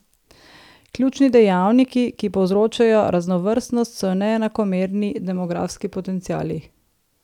Ključni dejavniki, ki povzročajo raznovrstnost, so neenakomerni demografski potenciali.